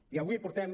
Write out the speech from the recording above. i avui portem